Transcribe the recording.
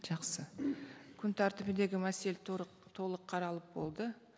жақсы күн тәртібіндегі мәселе толық қаралып болды